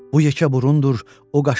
Bu yekə burundur, o qaşı seyrək.